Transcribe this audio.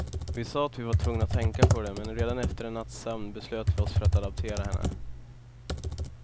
Vi sa att vi var tvungna att tänka på det, men redan efter en natts sömn beslöt vi oss för att adoptera henne.